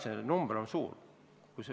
Jah, see number on suur.